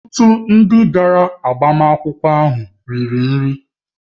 Ọtụtụ ndị bịara maka agbamakwụkwọ ahụ riri nri